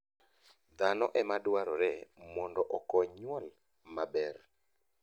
Dhano e ma dwarore mondo okony nyuol maber.